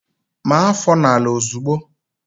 Maa áfọ̀ n'ala ozigbo!